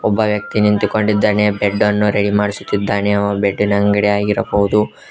ಒಬ್ಬ ವ್ಯಕ್ತಿ ನಿಂತುಕೊಂಡಿದ್ದಾನೆ ಬೆಡ್ ಅನ್ನು ರೆಡಿ ಮಾಡಿಸುತ್ತಿದ್ದಾನೆ ಅದು ಬೆಡ್ಡಿನ ಅಂಗಡಿ ಆಗಿರಬಹುದು.